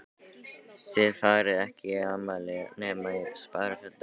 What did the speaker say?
Þið farið ekki í afmæli nema í sparifötunum.